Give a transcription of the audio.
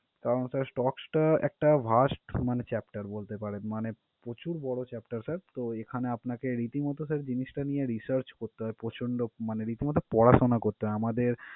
কারন sir stocks টা একটা vast মানে chapter বলতে পারেন মানে প্রচুর বড় chapter sir । তো, এখানে আপনাকে রীতিমতো sir জিনিসটা নিয়ে research করতে হয় প্রচণ্ড মানে রীতিমতো পড়াশুনা করতে হয়। আমাদের